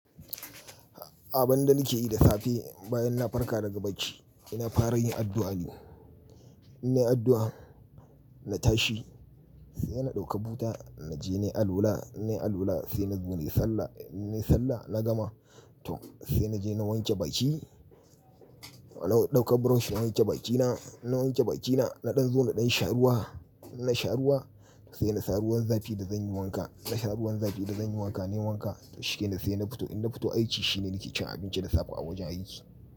Abin da nake yi da safe bayan na farka daga bacci ina fara yin addu'a ne. In nayi addu'a, na tashi sai na ɗauka buta naje nayi alwala, in nayi alwala sai naje nai sallah. In nayi sallah na gama, to sai naje na wanke baki. Na ɗauka brush na wanke bakina, in na wanke bakina naɗan zo naɗan sha ruwa. In na sha ruwa sai na sa ruwan zafi da zanyi wanka. Na sa ruwan zafi da zanyi wanka nayi wanka. To shikenan sai na fito. In na fito aiki shine nake cin abinci da safa a wajen aiki.